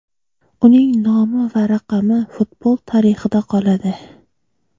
Uning nomi va raqami futbol tarixida qoladi.